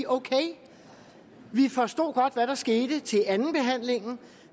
ok vi forstod godt hvad der skete til andenbehandlingen